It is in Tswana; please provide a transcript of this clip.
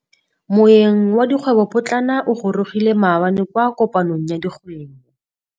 Moêng wa dikgwêbô pôtlana o gorogile maabane kwa kopanong ya dikgwêbô.